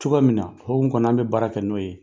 Cogoya min na o hukumu kɔnɔ an bɛ baara kɛ n'o ye.